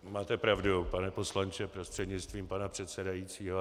Máte pravdu, pane poslanče, prostřednictvím pana předsedajícího.